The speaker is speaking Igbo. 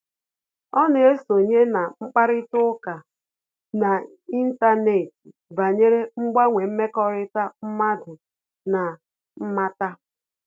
Ọ́ nà-èsonye na mkparịta ụka n’ị́ntánétị̀ banyere mgbanwe mmekọrịta mmadụ na mmata.